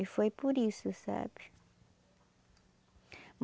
E foi por isso, sabe?